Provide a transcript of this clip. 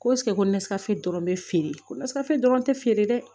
Ko ko ne ka se dɔrɔn bɛ feere ko nasira dɔrɔn tɛ feere dɛ